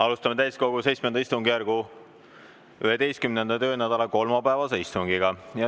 Alustame täiskogu VII istungjärgu 11. töönädala kolmapäevast istungit.